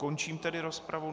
Končím tedy rozpravu.